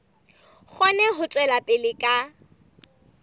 kgone ho tswela pele ka